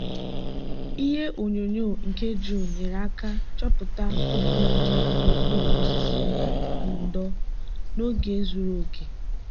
ihe onyonyo nke drone nyere aka chọpụta koko dị n'okpuru osisi ndo n'oge zuru oke.